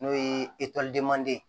N'o ye manden ye